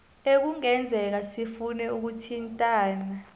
ekungenzeka sifune ukuthintana